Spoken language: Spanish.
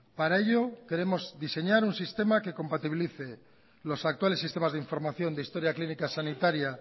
para ello queremos diseñar un sistema que compatibilice los actuales sistemas de información de historia clínica sanitaria